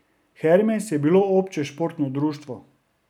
Hermes je bilo obče športno društvo.